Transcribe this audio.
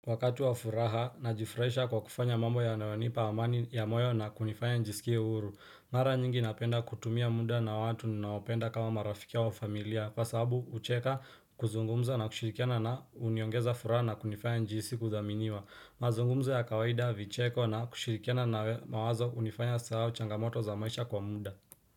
Wakati wa furaha najifurahisha kwa kufanya mambo yanayonipa amani ya moyo na kunifanya njiskie huru Mara nyingi napenda kutumia muda na watu ninaopenda kama marafiki au familia Kwa sababu kucheka kuzungumza na kushirikiana na huniongeza furaha na kunifanya nijihisi kuthaminiwa mazungumzo ya kawaida, vicheko na kushirikiana na mawazo hunifanya nisahau changamoto za maisha kwa muda.